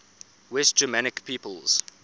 west germanic peoples